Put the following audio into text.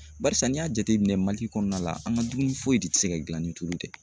Barisa n'i y'a jateminɛ kɔnɔna la an ka dumuni foyi de tɛ se ka gilan ni tulu tɛ.